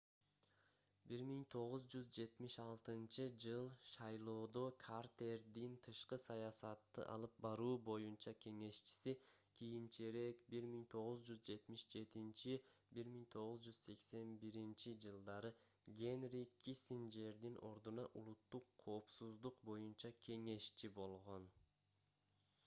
1976-ж. шайлоодо картердин тышкы саясатты алып баруу боюнча кеңешчиси кийинчерээк 1977-1981-жж. генри киссинджердин ордуна улуттук коопсуздук боюнча кеңешчи nsa болгон